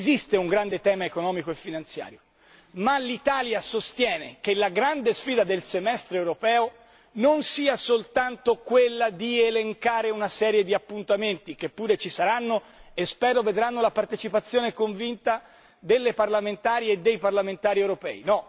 Esiste un grande tema economico e finanziario ma l'Italia sostiene che la grande sfida del Semestre europeo non sia soltanto quella di elencare una serie di appuntamenti che pure ci saranno e spero vedranno la partecipazione convinta delle parlamentari e dei parlamentari europei.